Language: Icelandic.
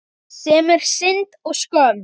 Sem er synd og skömm.